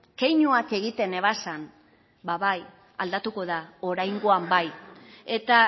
keinuak egiten ebazan ba bai aldatuko da oraingoan bai eta